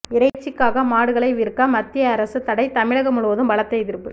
இறைச்சிக்காக மாடுகளை விற்க மத்திய அரசு தடை தமிழகம் முழுவதும் பலத்த எதிர்ப்பு